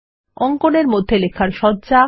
অঙ্কন এর মধ্যে লেখার সজ্জা